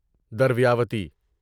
درویاوتی